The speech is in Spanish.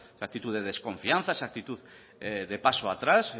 esa actitud de desconfianza esa actitud de paso atrás